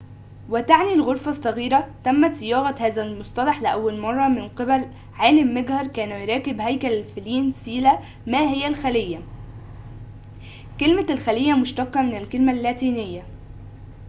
ما هي الخلية كلمة الخلية مشتقة من الكلمة اللاتينية cella وتعني الغرفة الصغيرة تمت صياغة هذا المصطلح لأول مرة من قبل عالم مجهر كان يراقب هيكل الفلين